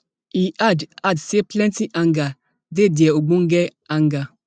e add add say plenti anger dey dia ogbonge anger